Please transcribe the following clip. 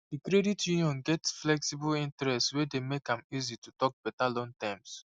the credit union get flexible interest wey dey make am easy to talk better loan terms